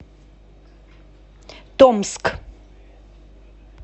томск